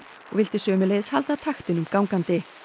og vildi sömuleiðis halda taktinum gangandi